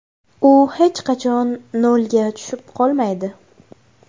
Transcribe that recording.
U hech qachon nolga tushib qolmaydi.